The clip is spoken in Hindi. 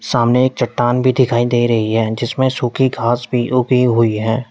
सामने एक चट्टान भी दिखाई दे रही है जिसमें सूखी घास भी उगी हुई है।